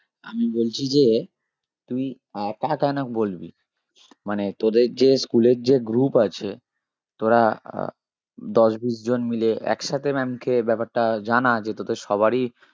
আমি বলছি যে তুই একা কেন বলবি মানে তোদের যে school এর যে group আছে তোরা আহ দশ বিশ জন মিলে একসাথে maam কে ব্যাপারটা জানা যে তোদের সবারই